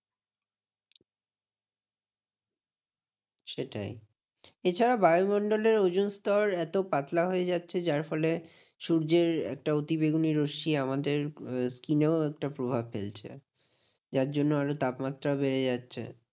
সেটাই এছাড়া বায়ুমণ্ডলের ওজোনস্তর এত পাতলা হয়ে যাচ্ছে যার ফলে সূর্যের একটা অতিবেগুনি রশ্মি আমাদের skin এও একটা প্রভাব ফেলছে। যার জন্য আরো তাপমাত্রা বেড়ে যাচ্ছে